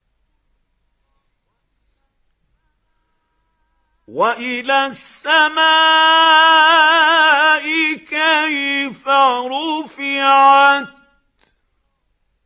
وَإِلَى السَّمَاءِ كَيْفَ رُفِعَتْ